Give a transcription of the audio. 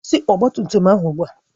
Kwụsị ọgba tum tum ahụ ugbu a!